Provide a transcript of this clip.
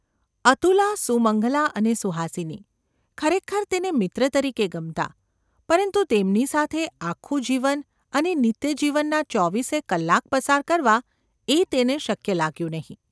અતુલા, સુમંગલા અને સુહાસિની ખરેખર તેને મિત્ર તરીકે ગમતાં; પરંતુ તેમની સાથે આખું જીવન અને નિત્યજીવનના ચોવીસે કલાક પસાર કરવા એ તેને શક્ય લાગ્યું નહિ.